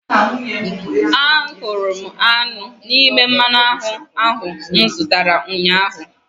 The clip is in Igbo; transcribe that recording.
Ahụrụ m aṅụ n'ime mmanụ aṅụ ahụ m zụtara ụnyahụ